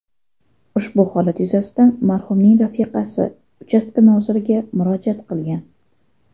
Ushbu holat yuzasidan marhumning rafiqasi uchastka noziriga murojaat qilgan.